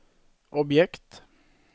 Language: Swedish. objekt